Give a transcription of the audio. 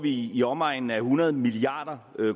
i i omegnen af hundrede milliard